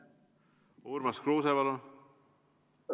Urmas Kruuse, palun!